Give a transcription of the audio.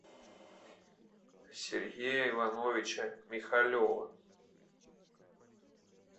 сергея ивановича михалева